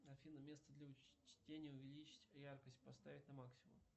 афина место для чтения увеличить яркость поставить на максимум